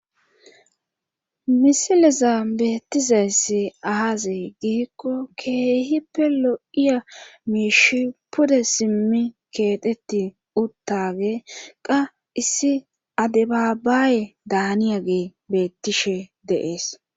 misileza beettizaysse aazay giikko keehi pe lo7iya miishi pude simmi keetetti uttage qa issi adebaabaaye daaniya gee beettishe deees